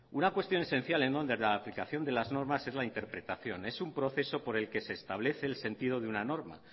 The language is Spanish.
una cuestión esencial en torno a la aplicación de las normas es la interpretación es un proceso por el que se establece el sentido de una norma